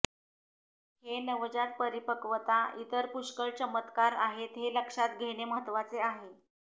हे नवजात परिपक्वता इतर पुष्कळ चमत्कार आहेत हे लक्षात घेणे महत्वाचे आहे